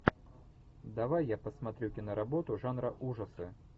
давай я посмотрю киноработу жанра ужасы